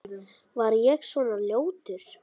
Var ég svona ljótur?